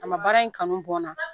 A ma baara in kanu bɔ n na